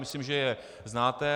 Myslím, že je znáte.